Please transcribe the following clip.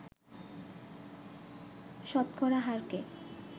শতকরা হারকে